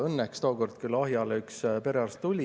Õnneks tookord küll Ahjale perearst tuli.